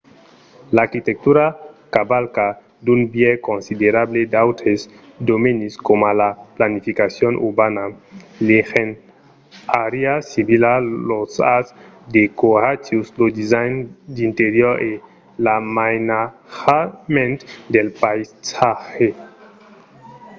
l’arquitectura cavalca d'un biais considerable d’autres domenis coma la planificacion urbana l’engenhariá civila los arts decoratius lo design d’interior e l’amainatjament del païsatge